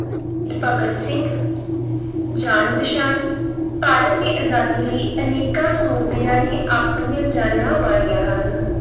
ਭਗਤ ਸਿੰਘ ਜਾਣ-ਪਛਾਣ ਭਾਰਤ ਦੀ ਆਜ਼ਾਦੀ ਲਈ ਅਨੇਕਾਂ ਸੂਰਬੀਰਾਂ ਨੇ ਆਪਣੀਆਂ ਜਾਨਾਂ ਵਾਰੀਆਂ ਹਨ।